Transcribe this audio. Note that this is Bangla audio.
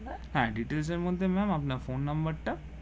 হ্যাঁ details এর মধ্যে আপনার ফোন নাম্বার টা